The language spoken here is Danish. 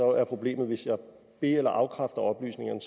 er problemet at hvis jeg be eller afkræfter oplysningerne